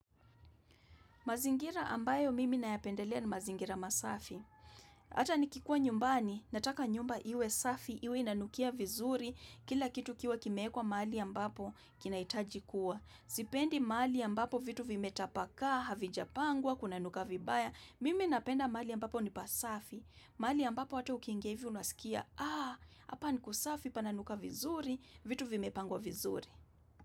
Mazingira ambayo mimi nayapendelea ni mazingira masafi. Ata nikikuwa nyumbani, nataka nyumba iwe safi, iwe inanukia vizuri, kila kitu kiwe kimeekwa mahali ambapo kinahitaji kuwa. Sipendi mahali ambapo vitu vimetapakaa, havijapangwa, kunanuka vibaya, mimi napenda mahali ambapo ni pasafi. Mali ambapo hata ukiingia hivi unasikia, aah, hapa nikusafi pananuka vizuri, vitu vimepangwa vizuri.